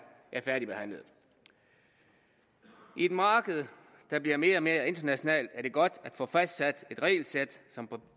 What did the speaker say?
færdigbehandlet i et marked der bliver mere og mere internationalt er det godt at få fastsat et regelsæt som på